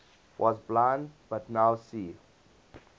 was blind but now see